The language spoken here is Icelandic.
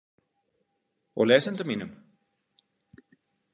Og lesendum mínum?